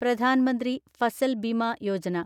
Pradhan Mantri Fasal Bima Yojana